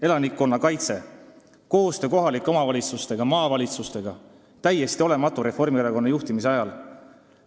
Elanikkonnakaitse, koostöö kohalike omavalitsustega ja maavalitsustega oli Reformierakonna juhtimise ajal täiesti olematu.